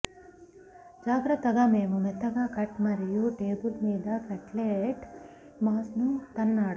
జాగ్రత్తగా మేము మెత్తగా కట్ మరియు టేబుల్ మీద కట్లెట్ మాస్ ను తన్నాడు